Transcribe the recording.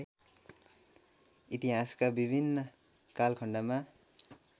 इतिहासका विभिन्न कालखण्डमा